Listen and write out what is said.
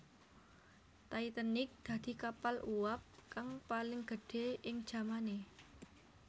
Titanic dadi kapal uwab kang paling gedhé ing jamané